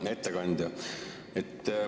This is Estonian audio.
Hea ettekandja!